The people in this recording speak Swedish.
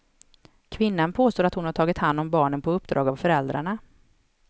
Kvinnan påstår att hon har tagit hand om barnen på uppdrag av föräldrarna.